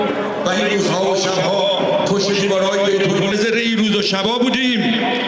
Bu gecələr, bu gecələr, bu gecələr.